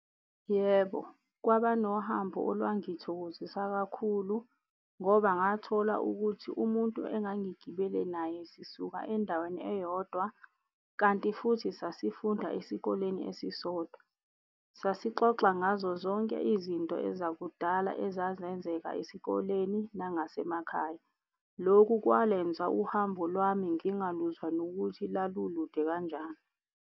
Yebo, kwaba nohambo olwangithokozisa kakhulu ngoba ngathola ukuthi umuntu engangigibele naye sisuka endaweni eyodwa kanti futhi sasifunda esikoleni esisodwa. Sasixoxa ngazo zonke izinto ezakudala ezazenzeka esikoleni nangasemakhaya. Lokhu kwalenza uhambo lwami ngingaluzwa nokuthi lalulude kanjani.